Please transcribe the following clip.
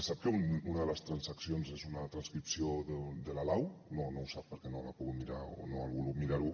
sap que una de les transaccions és una transcripció de la lau no no ho sap perquè no l’ha pogut mirar o no ha volgut mirar ho